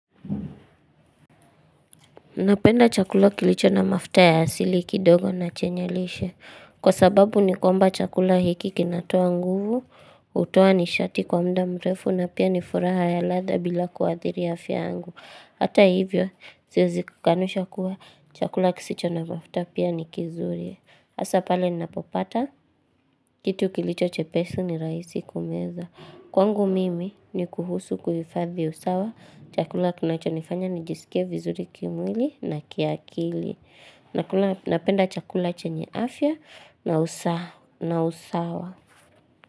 Napenda chakula kilicho na mafuta ya asili kidogo na chenye lishe. Kwa sababu ni kwamba chakula hiki kinatoa nguvu, hutoa nishati kwa muda mrefu na pia ni furaha ya ladha bila kuathiri afya yangu. Hata hivyo, siwezi kukanusha kuwa chakula kisicho na mafuta pia ni kizuri. Hasa pale ninapopata kitu kilicho chepesi ni rahisi kumeza. Kwangu mimi ni kuhusu kuhifadhi usawa, chakula kinachonifanya nijisikie vizuri kimwili na kiakili. Nakula napenda chakula chenye afya na usawa.